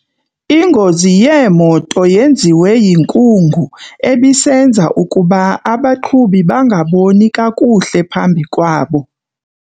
Ingozi yeemoto yenziwe yinkungu ebisenza ukuba abaqhubi bangaboni kakuhle phambi kwabo.